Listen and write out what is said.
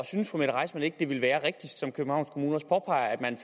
synes fru mette reissmann ikke at det ville være rigtigst som københavns kommune også påpeger at man